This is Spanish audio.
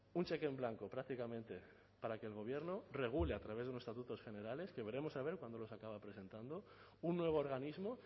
un cheque en blanco prácticamente para que el gobierno regule a través unos estatutos generales que veremos a ver cuándo los acaba presentando un nuevo organismo